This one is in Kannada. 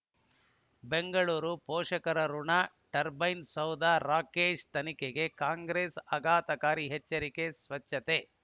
ಬೆಂಗಳೂರು ಪೋಷಕರಋಣ ಟರ್ಬೈನು ಸೌಧ ರಾಕೇಶ್ ತನಿಖೆಗೆ ಕಾಂಗ್ರೆಸ್ ಆಘಾತಕಾರಿ ಎಚ್ಚರಿಕೆ ಸ್ವಚ್ಛತೆ